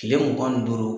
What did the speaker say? Kile mugan ni duuru